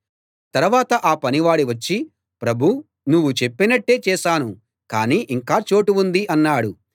తరవాత ఆ పనివాడు వచ్చి ప్రభూ నువ్వు చెప్పినట్టే చేశాను కానీ ఇంకా చోటు ఉంది అన్నాడు